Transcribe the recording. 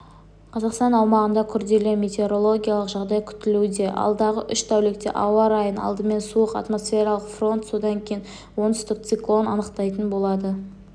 қазақстан аумағында күрделі метеорологиялық жағдай күтілуде алдағы үш тәулікте ауа райын алдымен суық атмосфералық фронт содан кейін оңтүстік циклон анықтайтын болады